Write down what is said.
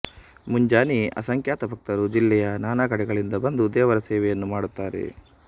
ಮುಂಜಾನೆಯೇ ಅಸಂಖ್ಯಾತ ಭಕ್ತರು ಜಿಲ್ಲೆಯ ನಾನಾಕಡೆಗಳಿಂದ ಬಂದು ದೇವರ ಸೇವೆಯನ್ನು ಮಾಡುತ್ತಾರೆ